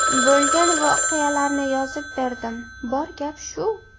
Bo‘lgan voqealarni yozib berdim, bor gap shu”.